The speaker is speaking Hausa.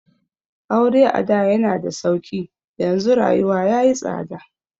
Aure ada yana da sauƙi, yanzu rayuwa ya yi tsada.